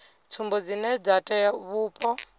tsumbo dzine dza tea vhupo